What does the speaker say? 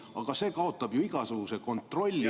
Aga see kaotab ju igasuguse kontrolli.